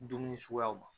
Dumuni suguyaw ma